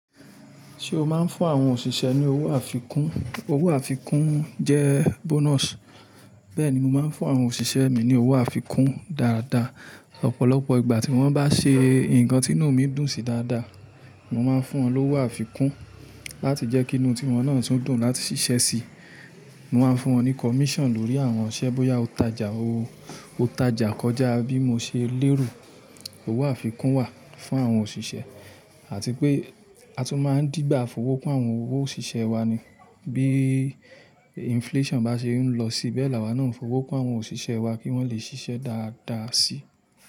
Ṣé o máa ń fún àwọn òṣìṣẹ́ ní owó àfikún? Owó àfikún jẹ́ bonus. Bẹ́ẹ̀ni, mo máa ń fún àwọn òṣìṣẹ́ mi ní owó àfikún dáadáa. Ọ̀pọ̀lọpọ̀ ìgbà tí wọ́n bá ṣe nǹkan tí inú mi dùn sí dáadáa, mo máa ń fún wọn lówó àfikún láti jẹ́ kí inú tí wọ́n náà tún dùn láti ṣiṣẹ́ síi. Mo máa ń fún wọn ní commission lórí àwọn iṣẹ́ bóyá o tajà ó, o tajà kọjá bí mo ṣe lérò. Owó àfikún wà fún àwọn òṣìṣẹ́ àti pé a tún máa ń dígbà fowó kún àwọn owo òṣìṣẹ́ wa ni bí inflation bá ṣe ń lọ sí bẹ́ẹ̀ la wá náà ń fowó kún àwọn òṣìṣẹ́ wa kí wọ́n lè ṣiṣẹ́ dáadáa síi.